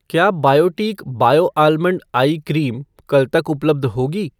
क्या Biotique bio almond eye cream कल तक उपलब्ध होगी?